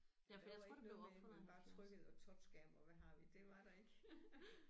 Der var ikke noget med man bare trykkede og touchskærme og hvad har vi det var der ikke